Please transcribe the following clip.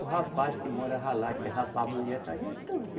O rapaz que morava lá, disse rapaz a mulher está gestante.